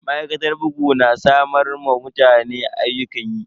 Ma'aikatar bugu na samar wa mutane ayyukan yi.